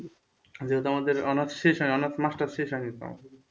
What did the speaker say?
যেহেতু আমাদের honours শেষ হয়নি honours master শেষ হয়নি তো